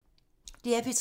DR P3